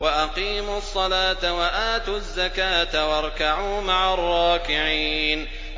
وَأَقِيمُوا الصَّلَاةَ وَآتُوا الزَّكَاةَ وَارْكَعُوا مَعَ الرَّاكِعِينَ